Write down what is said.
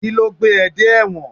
Kíló gbé dé ẹ dé ẹ̀wọ̀n?